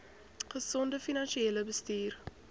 gesonde finansiële bestuur